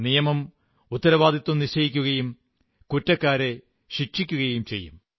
നിയമം ഉത്തരവാദിത്തം നിശ്ചയിക്കുകയും കുറ്റക്കാരെ ശിക്ഷിക്കുകയും ചെയ്യും